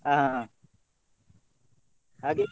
ಹ ಹಾ ಹಾಗೆ.